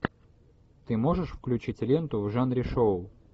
ты можешь включить ленту в жанре шоу